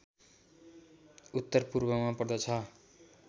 उत्तरपूर्वमा पर्दछ